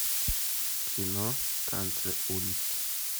кино танцы улиц